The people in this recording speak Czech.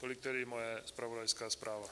Tolik tedy moje zpravodajská zpráva.